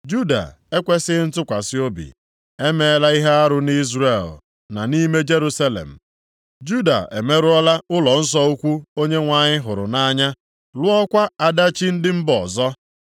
Juda ekwesighị ntụkwasị obi. E meela ihe arụ nʼIzrel na nʼime Jerusalem: Juda emerụọla ụlọnsọ ukwu Onyenwe anyị hụrụ nʼanya, lụọkwa ada chi ndị mba ọzọ.